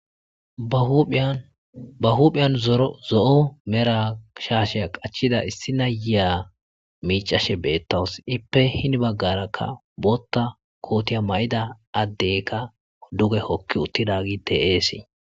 ba huphiyan zo7o mera shaasheya qachida issi na yiya miicashe beettaws ippe hini baggarakka bootta kootiya ma7ida addeykka duge hokki uttidagiy de'eesii